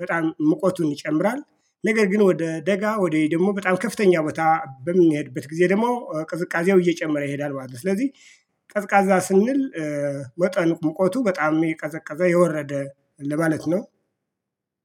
በጣም ሙቀቱ ይጨምራል ነገር ግን ወደ ደጋ ወደ ደግሞ በጣም ከፍተኛ ቦታ በሚሄድበት ጊዜ ደግሞ ቅዝቃዜው እየጨመረ ይሄዳል ማለት ነው። ስለዚህ ቀዝቃዛ ስንል ወጠን ሙቀቱ በጣም የቀዘቀዘ የወረደ ለማለት ነው